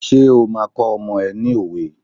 Ṣé o máa kọ́ ọmọ ẹ ní òwe?